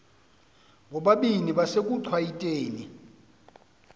bobabini besekuchwayite ni